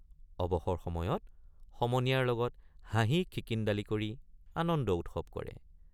অৱসৰ সময়ত সমনীয়াৰ লগত হাঁহিখিকিন্দালি কৰি আনন্দ উৎসৱ কৰে ।